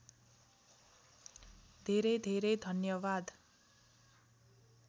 धेरै धेरै धन्यवाद